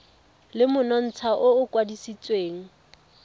le monontsha o o kwadisitsweng